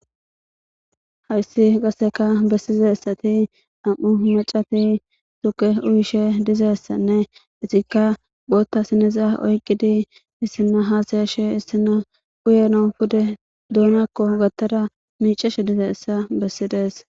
hayssi qasseka bessizessati am7u macati tuke uyishe dizessanne isikka gootta sinezaa oyqqidi issina haasayashe issina uyeno pude duonakko gattara miiceshe dizeessa bessides